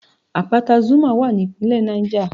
Àpáta Zuma wà ní ìpínlẹ̀ Niger